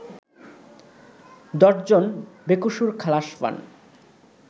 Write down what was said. ১০জন বেকসুর খালাস পান